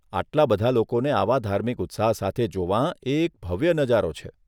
આટલા બધા લોકોને આવા ધાર્મિક ઉત્સાહ સાથે જોવાં, એ એક ભવ્ય નજારો છે.